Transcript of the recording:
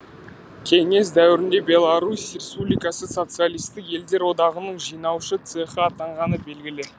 кеңес дәуірінде беларусь республикасы социалистік елдер одағының жинаушы цехы атанғаны белгілі